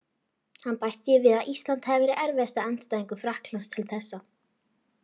Hann bætti því við að Ísland hefði verið erfiðasti andstæðingur Frakklands til þessa.